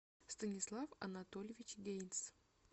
станислав анатольевич гейнц